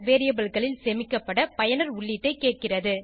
variableகளில் சேமிக்கப்பட பயனர் உள்ளீட்டைக் கேட்கிறது